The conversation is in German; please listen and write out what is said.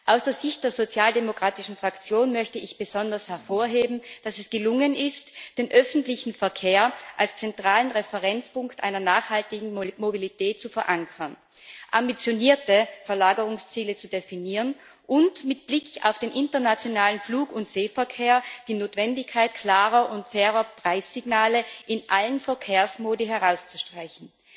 Aus Sicht der sozialdemokratischen Fraktion möchte ich besonders hervorheben, dass es gelungen ist, den öffentlichen Verkehr als zentralen Referenzpunkt einer nachhaltigen Mobilität zu verankern, ambitionierte Verlagerungsziele zu definieren und mit Blick auf den internationalen Flug und Seeverkehr die Notwendigkeit klarer und fairer Preissignale in allen Verkehrsmodi herauszustreichen.